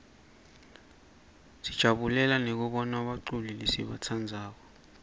sijabulela nekubona baculi lesibatsandzako